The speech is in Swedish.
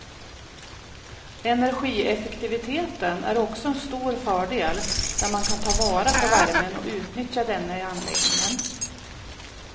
Energieffektiviteten är också en stor fördel där man kan ta vara på värmen och utnyttja denna i anläggningen.